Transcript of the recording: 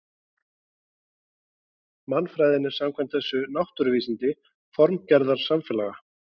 Mannfræðin er samkvæmt þessu náttúruvísindi formgerðar samfélaga.